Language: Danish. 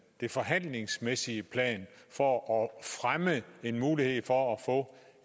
forhandlingsmæssige plan for at fremme en mulighed for at få